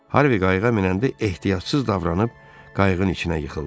Harvi qayıqa minəndə ehtiyatsız davranıb, qayığın içinə yıxıldı.